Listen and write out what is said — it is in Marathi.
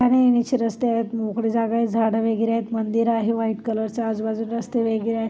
जाणे येण्याचे रस्ते आहेत मोकळी जागा आहे झाडं वगैरे आहेत मंदिर आहे व्हाइट कलर चा आजूबाजूला रस्ते वेगळे आहे.